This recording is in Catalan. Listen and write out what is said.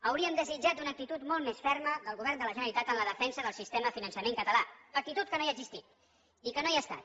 hauríem desitjat una actitud molt més ferma del govern de la generalitat en la defensa del sistema de finançament català actitud que no ha existit i que no hi ha estat